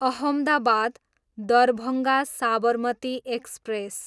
Ahmedabad, Darbhanga Sabarmati express